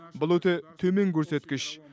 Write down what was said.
бұл өте төмен көрсеткіш